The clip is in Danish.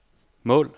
mål